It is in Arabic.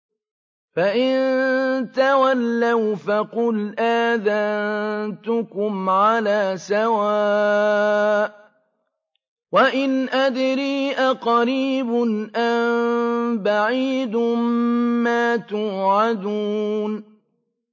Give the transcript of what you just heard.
فَإِن تَوَلَّوْا فَقُلْ آذَنتُكُمْ عَلَىٰ سَوَاءٍ ۖ وَإِنْ أَدْرِي أَقَرِيبٌ أَم بَعِيدٌ مَّا تُوعَدُونَ